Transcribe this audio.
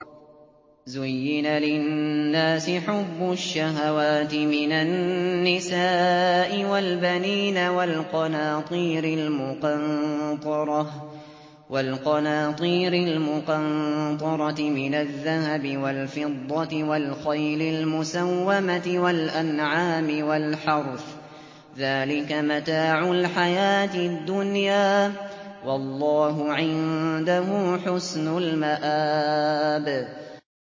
زُيِّنَ لِلنَّاسِ حُبُّ الشَّهَوَاتِ مِنَ النِّسَاءِ وَالْبَنِينَ وَالْقَنَاطِيرِ الْمُقَنطَرَةِ مِنَ الذَّهَبِ وَالْفِضَّةِ وَالْخَيْلِ الْمُسَوَّمَةِ وَالْأَنْعَامِ وَالْحَرْثِ ۗ ذَٰلِكَ مَتَاعُ الْحَيَاةِ الدُّنْيَا ۖ وَاللَّهُ عِندَهُ حُسْنُ الْمَآبِ